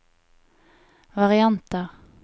varianter